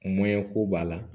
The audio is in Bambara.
ko b'a la